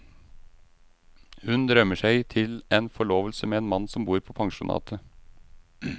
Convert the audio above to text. Hun drømmer seg til en forlovelse med en mann som bor på pensjonatet.